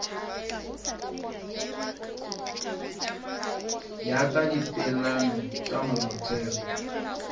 ya ka dipeelano tša molaotheo